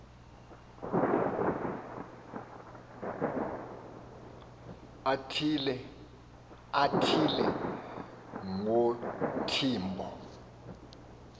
athi le nguntimbo